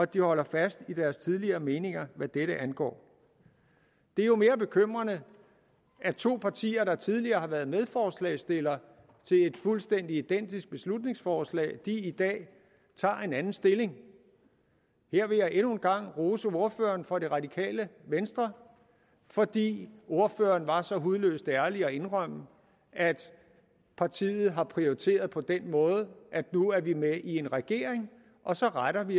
de holder fast i deres tidligere meninger hvad dette angår det er jo mere bekymrende at to partier der tidligere har været medforslagsstillere til et fuldstændig identisk beslutningsforslag i dag tager en anden stilling her vil jeg endnu en gang rose ordføreren for det radikale venstre fordi ordføreren var så hudløst ærlig at indrømme at partiet har prioriteret på den måde at nu er de med i en regering og så retter de